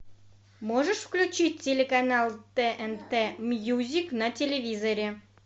можешь включить телеканал тнт мьюзик на телевизоре